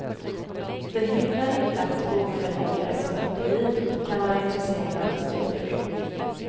Det hindrar inte att en bokförläggare som individ kan vara intresserad av litteratur.